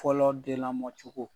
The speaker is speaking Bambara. Fɔlɔ den lamɔ cogo